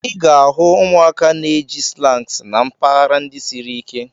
Ị ga-ahụ ụmụaka na-eji slangs na mpaghara ndị siri ike.